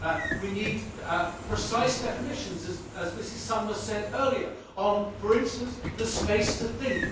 we need precise definitions, as Mrs Sommer said earlier, on for instance the space to think.